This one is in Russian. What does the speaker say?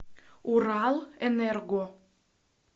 уралэнерго